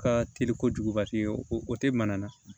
Ka teli kojugubate o tɛ mana na